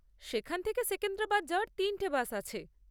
এখান থেকে সেকেন্দ্রাবাদ যাওয়ার তিনটে বাস আছে।